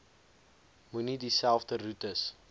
moenie dieselfde roetes